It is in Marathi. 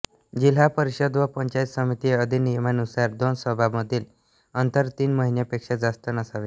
जिल्हा परिषद व पंचायत समिती अधिनियमानुसार दोन सभामधील अन्तर तीन महिन्यांपेक्षा जास्त नसावे